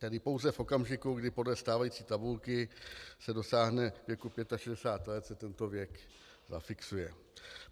Tedy pouze v okamžiku, kdy podle stávající tabulky se dosáhne věku 65 let, se tento věk zafixuje.